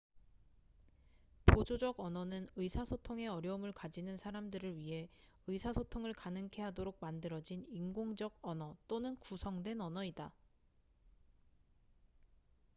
보조적 언어는 의사소통에 어려움을 가지는 사람들을 위해 의사소통을 가능케 하도록 만들어진 인공적 언어 또는 구성된 언어이다